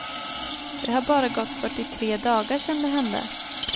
Det har bara gått fyrtiotre dagar sedan det hände.